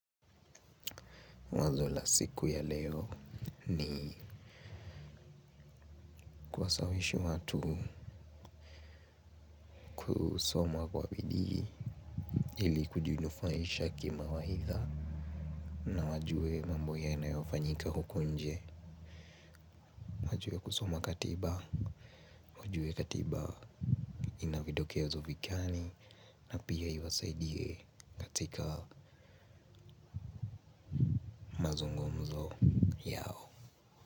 Wazo la siku ya leo ni kuwasawishi watu kusoma kwa bidii ili kujinufaisha kimawaidha na wajue mambo yanayofanyika huku nje wajue kusoma katiba wajue katiba ina vidokezo vigani na pia iwasaidie katika mazungumzo.